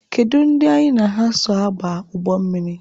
Kedu ndị anyị na ha so aba ụgbọ mmiri?